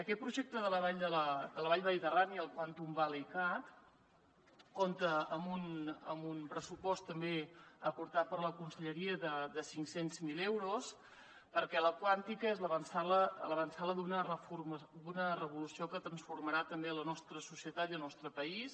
aquest projecte de la vall mediterrània el quantum valley cat compta amb un pressupost també aportat per la conselleria de cinc cents miler euros perquè la quàntica és l’avantsala d’una revolució que transformarà també la nostra societat i el nostre país